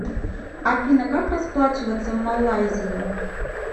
афина как расплачиваться в малайзии